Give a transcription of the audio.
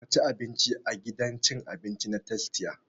Ka ci abinci a gidan cin abinci na tastia!